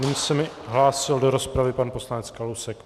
Nyní se mi hlásil do rozpravy pan poslanec Kalousek.